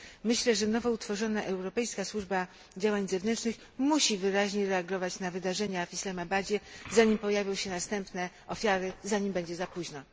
Myślę, że nowo utworzona Europejska Służba Działań Zewnętrznych musi wyraźnie reagować na wydarzenia w Islamabadzie, zanim pojawią się następne ofiary i zanim będzie za późno.